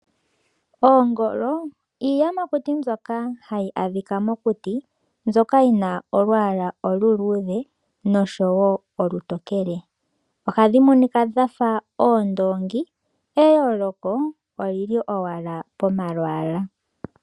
Oongolo iiyamakuti mbyoka hayi adhika mokuti, mbyoka yi na olwaala oluluudhe nosho wo olutokele. Ohadhi monika dha fa oondoongi eyooloko oli li owala pomalwaala.